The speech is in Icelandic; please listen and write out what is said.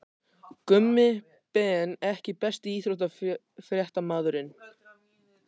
Gummi Ben EKKI besti íþróttafréttamaðurinn?